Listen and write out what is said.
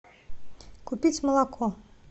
купить молоко